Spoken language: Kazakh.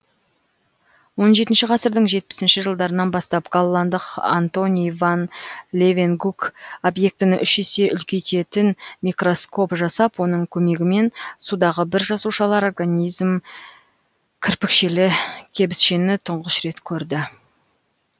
он жетінші ғасырдың жетпісінші жылдарынан бастап голландық антони ван левенгук объектіні үш есе үлкейтетін микроскоп жасап оның көмегімен судағы біржасушалы организм кірпікшелі кебісшені тұңғыш рет көрді